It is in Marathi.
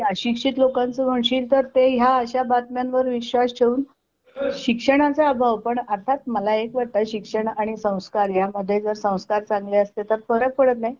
आणि अशिक्षित लोकांचं म्हणशील तर ते या अशा बातम्यांवर विश्वास ठेवून शिक्षणाचा अभाव पण अर्थात मला एक वाटत शिक्षण आणि संस्कार या मध्ये जर संस्कार चांगले असले तर फरक पडत नाही.